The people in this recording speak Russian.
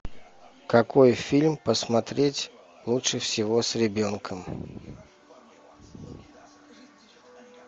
какой фильм посмотреть лучше всего с ребенком